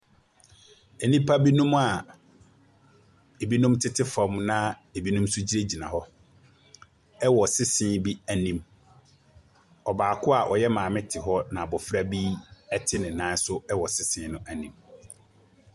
Nnipa binom a ebinom tete fam na ebinom nso gyinagyina hɔ wɔ sisie bi anim. Ɔbaako a ɔyɛ maame te hɔ na Abofra bi te ne nan so wɔ sesie no anim.